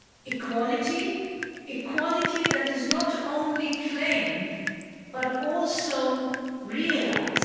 equality equality that is not only claimed but also realised.